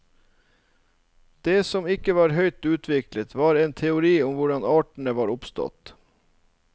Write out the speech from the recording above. Det som ikke var høyt utviklet, var en teori om hvordan artene var oppstått.